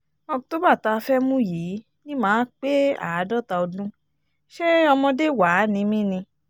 october tá a fẹ́ẹ́ mú yìí ni mà á pé àádọ́ta ọdún ṣé ọmọdé wàá ni mí ni